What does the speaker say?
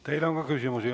Teile on ka küsimusi.